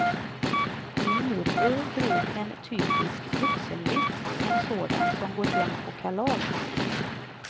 Min morbror drog en typisk vuxenvits, en sådan som går hem på kalas.